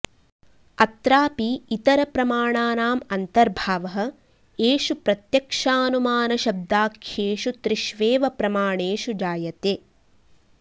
अत्रापि इतरप्रमाणानाम् अन्तर्भावः एषु प्रत्यक्षानुमानशब्दाख्येषु त्रिष्वेव प्रमाणेषु जायते